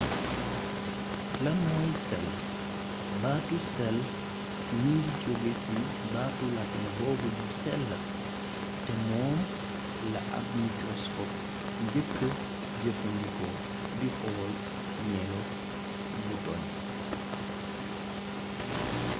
lan mooy cell baatu cell mi ngi jóge ci baatu latin boobu di cella te moom la ab mikroskop njëkka jëfandikoo di xool melo butoñ